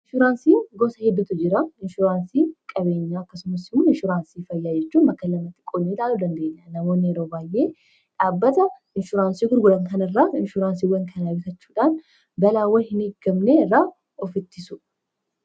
Inshuraansii gosoota hedduutu jira; inshuraansii qabeenyaa akkasumas inshuraansii fayyaa jedhamanii bakka gurguddootti qoodamuu danda’u. Namoonni yeroo baay’ee dhaabbata inshuraansii gurguddaa irraa inshuraansiiwwan kana bitachuudhaan, balaawwan hin eegamne irraa of ittisu.